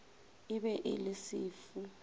e be e le sefu